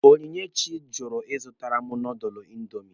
Onyinyechi jụrụ ịzụtara m nọdụlụ indomi.